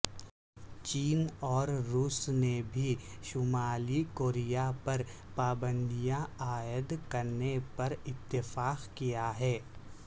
چین اور روس نے بھی شمالی کوریا پر پابندیاں عائد کرنے پر اتفاق کیا ہے